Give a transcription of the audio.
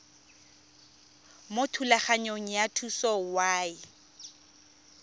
mo thulaganyong ya thuso y